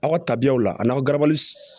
Aw ka tabiyaw la a n'aw garabali